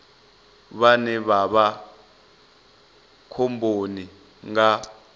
vhane vha vha khomboni nga